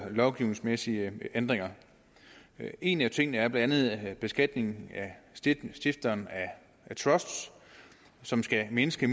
lovgivningsmæssige ændringer en af tingene er blandt andet beskatningen af stiftere af trusts som skal mindske